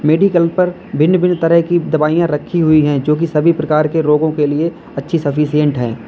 Medical पर भिन्न भिन्न तरह की दवाइयां रखी हुई हैं जो कि सभी प्रकार के रोगों के लिए अच्छी सफिशिएंट हैं।